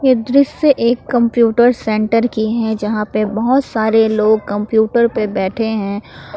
दृश्य एक computer center की है यहां पे बहुत सारे लोग कंप्यूटर पे बैठे हैं।